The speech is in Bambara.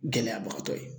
Gɛlɛyabagatɔ ye